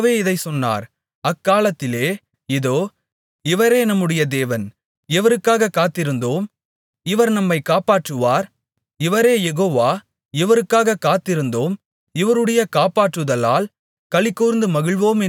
அக்காலத்திலே இதோ இவரே நம்முடைய தேவன் இவருக்காகக் காத்திருந்தோம் இவர் நம்மை காப்பாற்றுவார் இவரே யெகோவா இவருக்காகக் காத்திருந்தோம் இவருடைய காப்பாற்றுதலால் களிகூர்ந்து மகிழுவோம் என்று சொல்லப்படும்